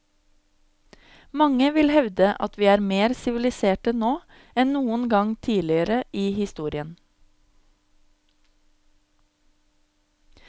Mange vil hevde at vi er mer siviliserte nå enn noen gang tidligere i historien.